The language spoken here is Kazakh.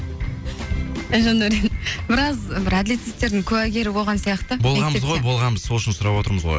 жандәурен біраз бір әділетсіздіктердің куәгері болған сияқты болғанбыз ғой болғанбыз сол үшін сұрап отырмыз ғой